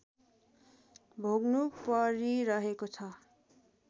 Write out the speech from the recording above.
भोग्नु परिरहेको छ